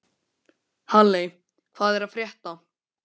Halley, hvað er að frétta?